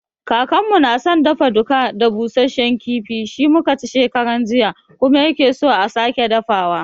Kakanmu na san dafa-duka da busashen kifi, shi mu ka ci shekaran jiya kuma ya ke so a sake dafawa.